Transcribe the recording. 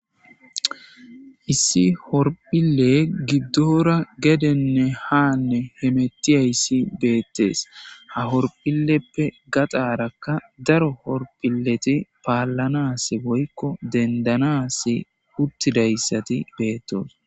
Issi horphile gidoora gedena hanne hemettiyaysi dettes ha horphilepe gaxarakka daro horphileti paalanasi (dendanas) uttidaysati bettosona.